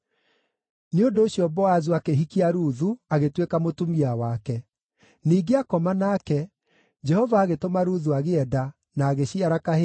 Nĩ ũndũ ũcio Boazu akĩhikia Ruthu, agĩtuĩka mũtumia wake. Ningĩ aakoma nake, Jehova agĩtũma Ruthu agĩe nda, na agĩciara kahĩĩ.